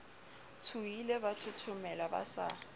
tshohile ba thothomela ba sa